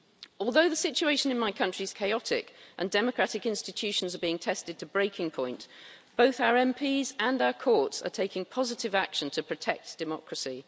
Although the situation in my country is chaotic, and democratic institutions are being tested to breaking point, both our MPs and our courts are taking positive action to protect democracy.